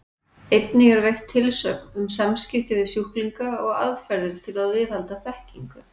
Einnig er veitt tilsögn um samskipti við sjúklinga og aðferðir til að viðhalda þekkingu.